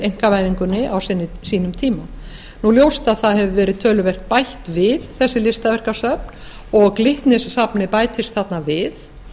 einkavæðingunni á sínum tíma nú er ljóst að það hefur verið töluvert bætt við þessi listaverkasöfn og glitnissafnið bætist þarna við